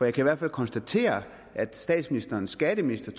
i hvert fald konstatere at statsministerens skatteminister